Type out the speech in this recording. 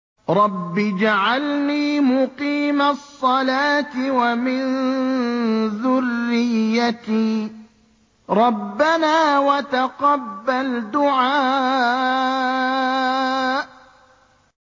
رَبِّ اجْعَلْنِي مُقِيمَ الصَّلَاةِ وَمِن ذُرِّيَّتِي ۚ رَبَّنَا وَتَقَبَّلْ دُعَاءِ